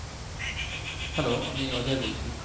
hello আমি অজয় বলছে